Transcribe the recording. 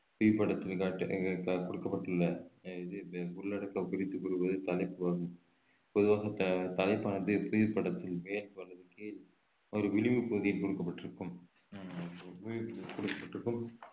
புவிப்படத்தில் கொடுக்கப்பட்டுள்ள அஹ் இது இந்த உள்ளடக்கம் குறித்து கூறுவது தலைப்பு ஆகும் பொதுவாக த~ தலைப்பானது புவிப்படத்தின் மேல் அல்லது கீழ் ஒரு விளிம்பு பகுதி கொடுக்கப்பட்டிருக்கும்